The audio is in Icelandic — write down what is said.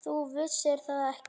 Þú vissir það ekki.